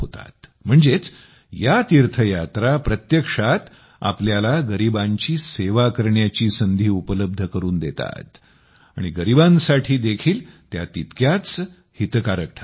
म्हणजेच या तीर्थयात्रा प्रत्यक्षात आपल्याला गरिबांची सेवा करण्याची संधी उपलब्ध करून देतात आणि गरिबांसाठी देखील त्या तितक्याच हितकारक ठरतात